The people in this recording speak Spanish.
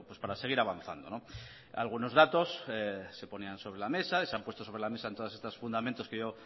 para seguir avanzando algunos datos se ponían sobre la mesa se han puesto sobre la mesa en todos estos fundamentos que yo